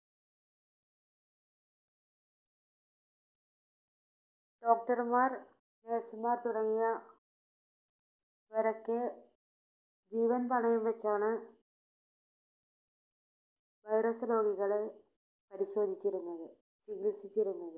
doctor മാർ nurse മാർ തുടങ്ങിയ~വരൊക്കെ ജീവൻ പണയം വച്ചാണ് Virus രോഗികളെ പരിശോധിച്ചിരുന്നത് ചികിൽസിച്ചിരുന്നത്